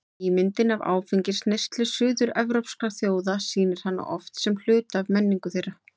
Ímyndin af áfengisneyslu suður-evrópskra þjóða sýnir hana oft sem hluta af menningu þeirra.